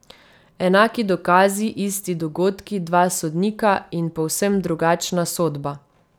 Enaki dokazi, isti dogodki, dva sodnika in povsem drugačna sodba.